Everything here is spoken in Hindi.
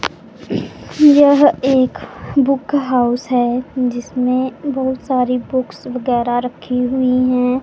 यह एक बुक हाउस हैं जिसमें बहोत सारी बुक्स वगैरा रखी हुई हैं।